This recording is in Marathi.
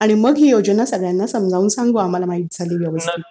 आणि मग ही योजना सगळ्यांना समजावून सांगू आम्हाला माहित झाली व्यवस्थित की.